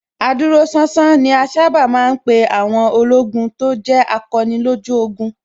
Adúróṣánṣán ni a sábà ma ń pè àwọn ológun tó jẹ́ akọni lójú ogun